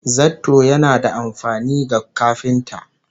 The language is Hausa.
Zarto yana da amfani ga kafinta